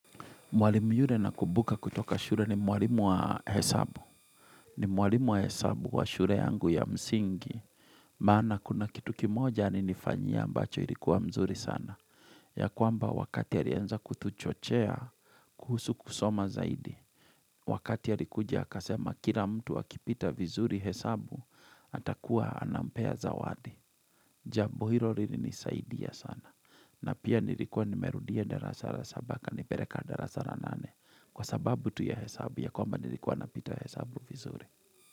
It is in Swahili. Mwalimu yule nakumbuka kutoka shure ni mwalimu wa hesabu. Ni mwalimu wa hesabu wa shure yangu ya msingi. Maana kuna kitu kimoja alinifanyia ambacho ilikuwa mzuri sana. Ya kwamba wakati ya alianza kutuchochea kuhusu kusoma zaidi. Wakati alikuja akasema kila mtu akipita vizuri hesabu atakuwa anampea zawadi. Jabo hilo lilinisaidia sana. Na pia nilikuwa nimerudia darasa ra saba akani pereka darasara nane. Kwa sababu tu hesabu ya kwamba nilikuwa na pita hesabu vizuri.